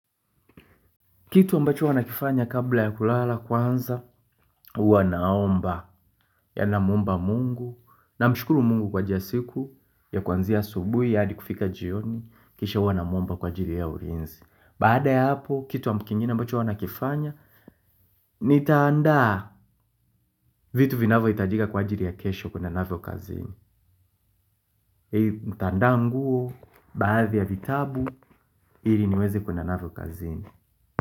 Kitu ambacho huwa nakifanya kabla ya kulala kwanza huwa naomba, yaani namwomba Mungu. Namshukuru Mungu kwa ajili ya siku ya kuanzia asubuhi hadi kufika jioni kisha huwa namwomba kwa ajili ya ulinzi. Baada ya hapo, kitu kingine ambacho huwa nakifanya, nitaandaa vitu vinavohitajika kwa ajili ya kesho kuenda navyo kazini. Ntaandaa nguo, baadhi ya vitabu, ili niweze kuenda navyo kazini.